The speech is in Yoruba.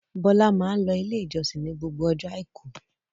Bọ́lá máa ń lọ Ilé-ìjọsìn ní gbogbo ọjọ́ àìkú.